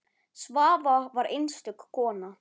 Svava var einstök kona.